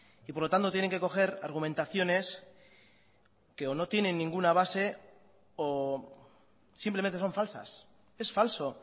y por lo tanto tienen que coger argumentaciones que o no tienen ninguna base o simplemente son falsas es falso